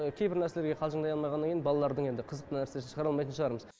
кейбір нәрселерге қалжындай алмағаннан кейін балалардың енді қызық нәрсесін шығара алмайтын шығармыз